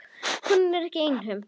Konan er ekki einhöm.